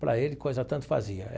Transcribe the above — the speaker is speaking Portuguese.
Para ele, coisa tanto fazia.